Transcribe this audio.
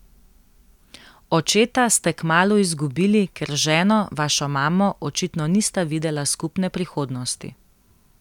Očeta ste kmalu izgubili, ker z ženo, vašo mamo, očitno nista videla skupne prihodnosti.